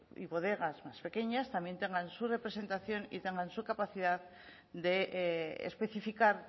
y bodegas más pequeñas también tengan su representación y tengan su capacidad de especificar